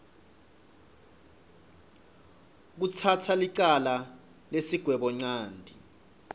kutsatsa licala nesigwebonchanti